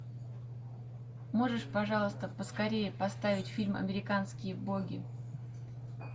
можешь пожалуйста поскорее поставить фильм американские боги